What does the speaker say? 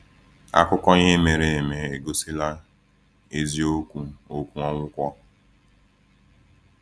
Akụkọ ihe mere eme egosila eziokwu okwu Onwukwọ.